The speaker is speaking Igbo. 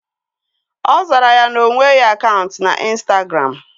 Ọ zara ya na onweghị akaụntụ na ịnstagram